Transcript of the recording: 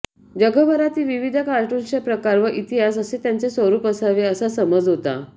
जगभरातील विविध कार्टून्सचे प्रकार व इतिहास असे त्याचे स्वरूप असावे असा समज होता